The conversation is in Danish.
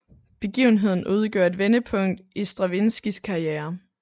Begivenheden udgjorde et vendepunkt i Stravinskijs karriere